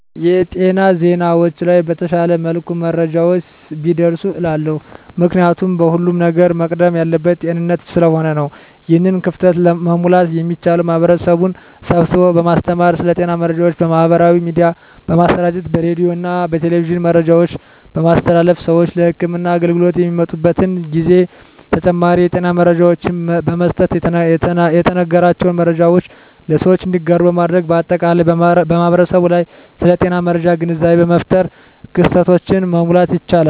የጤና ዜናዎች ላይ በተሻለ መልኩ መረጃዎች ቢደርሱ እላለሁ። ምክንያቱም ከሁለም ነገር መቅደም ያለበት ጤንነት ስለሆነ ነው። ይህን ክፍተት መሙላት የሚቻለው ማህበረሰብን ስብስቦ በማስተማር ስለ ጤና መረጃዎች በማህበራዊ ሚዲያ በማሰራጨት በሬዲዮና በቴሌቪዥን መረጃዎችን በማስተላለፍ ስዎች ለህክምና አገልግሎት በሚመጡበት ጊዜ ተጨማሪ የጤና መረጃዎችን በመስጠትና የተነገራቸውን መረጃዎች ለሰዎች እንዲያጋሩ በማድረግ በአጠቃላይ በማህበረሰቡ ላይ ስለ ጤና መረጃ ግንዛቤ በመፍጠር ክፍተቶችን መሙላት ይቻላል።